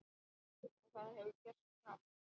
Og það hefur gerst hratt.